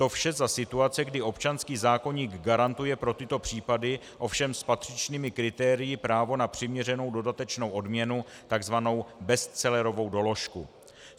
To vše za situace, kdy občanský zákoník garantuje pro tyto případy, ovšem s patřičnými kritérii, právo na přiměřenou dodatečnou odměnu, tzv. bestsellerovou doložku.